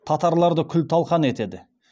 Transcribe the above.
татарларды күл талқан етеді